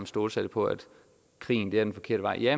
stålsatte på at krigen er den forkerte vej ja